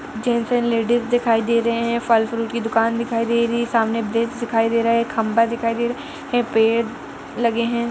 Gents and ladies दिखाई दे रहे हैं। फल फ्रूट की दूकान दिखाई दे रही है। सामने बेंच दिखाई दे रहा है। खम्बा दिखाई दे रहा है। पेड़ लगे हैं।